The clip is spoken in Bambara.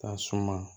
Ka suma